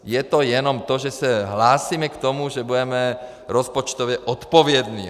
Je to jenom to, že se hlásíme k tomu, že budeme rozpočtově odpovědní.